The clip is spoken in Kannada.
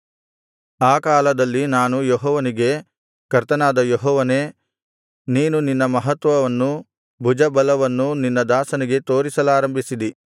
ಆ ಕಾಲದಲ್ಲಿ ನಾನು ಯೆಹೋವನಿಗೆ ಕರ್ತನಾದ ಯೆಹೋವನೇ ನೀನು ನಿನ್ನ ಮಹತ್ವವನ್ನೂ ಭುಜಬಲವನ್ನೂ ನಿನ್ನ ದಾಸನಿಗೆ ತೋರಿಸಲಾರಂಭಿಸಿದಿ